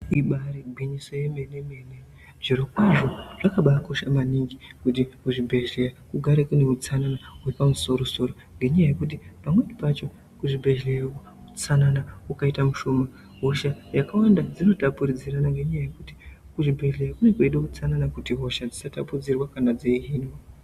Ibari gwinyiso remenemene zviri kwazvo zvakambakosha maningi kuti kuzvibhehlera kugare kune utsanana wepamusoro soro nenyaya yekuti pamweni pacho kuzvibhehlera utsanana wakaita ushoma hosha dzakawanda dzinotapudzirana nenyaya yekuti kuchibhehleya kunenge kweida utsanana kuti hosha dzisatambudziranwa kana dzeihinwa.